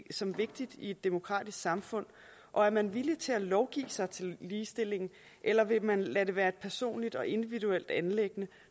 som vigtigt i et demokratisk samfund og er man villig til at lovgive sig til ligestilling eller vil man lade det være et personligt og individuelt anliggende